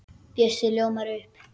Bjössi ljómar upp.